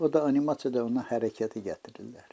O da animasiyada ona hərəkəti gətirirlər.